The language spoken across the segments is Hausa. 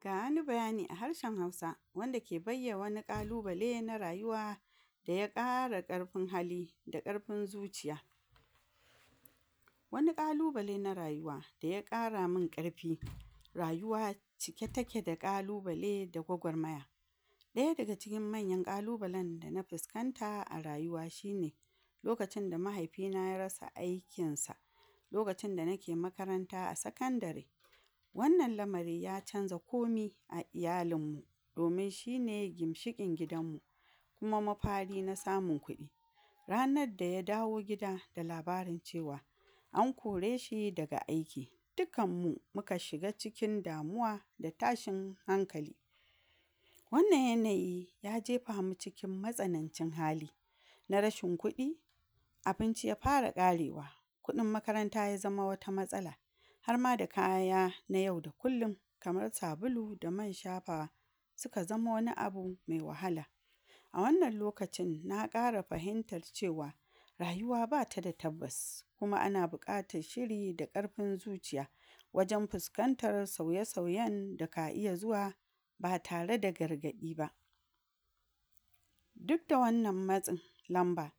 Ga wani bayani a harshen Hausa wanda ke bayya wani ƙalubale na rayuwa da ya ƙara ƙarfin hali da ƙarfin zuciya, wani ƙalubale na rayuwa da ya ƙara min ƙarfi rayuwa cike take da ƙalubale da gwagwarmaya, ɗaya daga cikin manyan ƙalubalen da na fuskanta a rayuwa shine lokacinda mahaifina ya rasa aikinsa, lokacinda nake makaranta a sakandare, wannan lamari ya canza komi a iyalinmmu domin shini gimshiƙin gidanmmu kuma mafari na samun kuɗi, ranadda ya dawo gida da labarin cewa an kore shi daga aiki, dikkanmmu muka shiga cikin damuwa da tashin hankali, wannan yanayi ya jefamu cikin matsanancin hali na rashin kuɗi, abinci ya fara ƙarewa, kuɗin makaranta ya zama wata matsala harma da kaya na yau da kullum kamar: Sabulu, da man shafawa, suka zama wani abu me wahala, a wannan lokaci na ƙara fahimtar cewa rayuwa bata da tabbas, kuma ana buƙatar shiri da ƙarfin zuciya, wajen fiskantar sauye sauyen da ka iya zuwa ba tare da gargaɗi ba, dudda wannan matsin lamba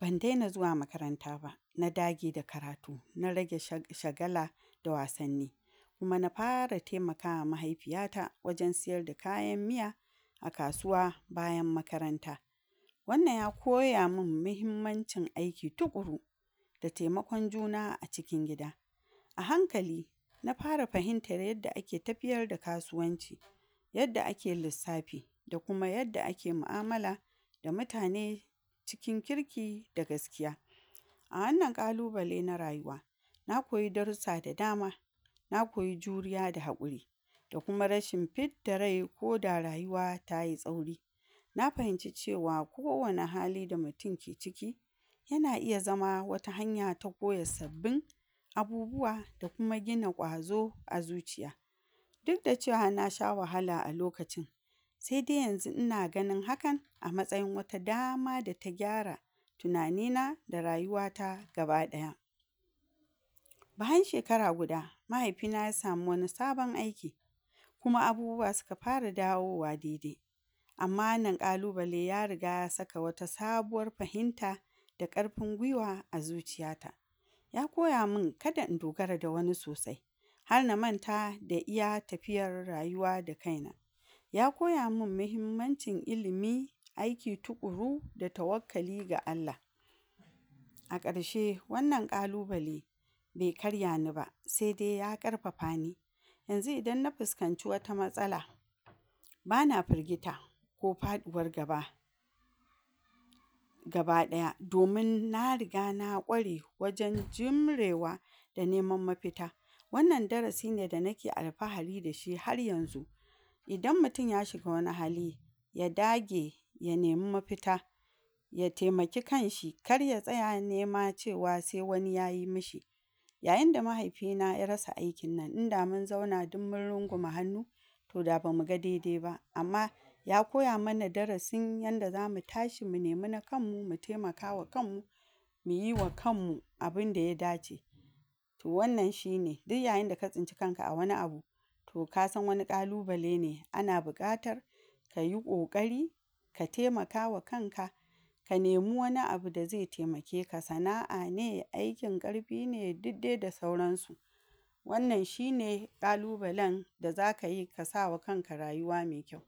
ban dena zuwa makaranta ba na dage da karatu, na rage shag...shagala da wasanni, kuma na fara temakawa mahaifiyata wajen sayar da kayan miya a kasuwa bayan makaranta, wannan ya koya min mahimmancin aiki tuƙuru, da taimakon juna a cikin gida, a hankali na fara fahintar yadda ake tafiyar da kasuwanci, yadda ake lissafi da kuma yadda ake mu'amala da mutane cikin kirki da gaskiya, a wannan ƙalubale na rayuwa na koyi darussa da dama na koyi juriya da haƙuri, da kuma rashin fidda rai koda rayuwa tayi tsauri, na fahimci cewa kowane hali da mutum ke ciki yana iya zama wata hanya ta koya sabbin abubuwa da kuma gina ƙwazo a zuciya, dudda cewa na sha wahala a lokacin sede yanzu ina ganin hakan a matsayin wata dama da ta gyara tunanina da rayuwata gaba ɗaya, bayan shekara guda mahaifina ya samu wani sabon aiki kuma abubuwa suka fara dawowa dede, amma wannan ƙalubale ya riga ya saka wata sabuwar fahinta da ƙarfin gwiwa a zuciyata, ya koya min kada in dogara da wani sosai, har na manta da iya tafiyar rayuwa da kaina, ya koya min mihimmancin ilimi, aiki tuƙuru da tawakkali ga Allah. A ƙarshe wannan ƙalubale be karya ni ba sede ya ƙarfafani yanzu idan na fuskanci wata matsala bana firgita ko faɗuwar gaba, gaba ɗaya domin na riga na ƙware wajen jimrewa da neman mafita, wannan darasi ne da nake alfahari da shi har yanzu, idan mutin ya shiga wani hali ya dage ya nemi mafita ya temaki kanshi kar ya tsaya cewa nema se wani yayi mashi, yayinda mahaifina ya rasa aikin nan inda mun zauna dummun rungume hannu to da bamuga dede ba amma ya koya mana darasin yanda zamu tashi mu nemi na kanmmu mu temakama kanmmu, muyiwa kanmmu abinda ya dace, to wannan shine diyyayinda ka tsinci kanka a wani abu to kasan wani ƙalubale ne ana buƙatar kayi ƙoƙari ka temakawa kanka ka nemi wani abu da ze temakeka, sana'a ne aikin ƙarfi ne dudde da sauransu, wannan shine ƙalubalenda zakayi kasa wa rayuwa me kyau.